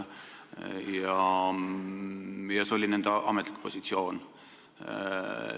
Ja see oli nende ametlik positsioon.